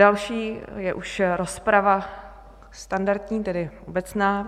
Další je už rozprava standardní, tedy obecná.